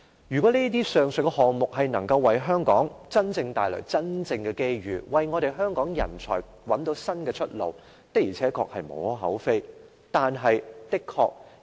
如果上述項目能夠為香港帶來真正的機遇，為香港人才找到新出路，的確是無可厚非的。